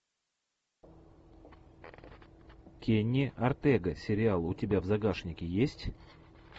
кенни ортега сериал у тебя в загашнике есть